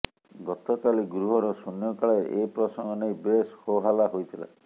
ଗତକାଲି ଗୃହର ଶୂନ୍ୟକାଳରେ ଏ ପ୍ରସଙ୍ଗ ନେଇ ବେଶ୍ ହୋହଲ୍ଲା ହୋଇଥିଲା